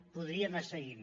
podria anar seguint